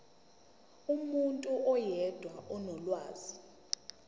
umuntu oyedwa onolwazi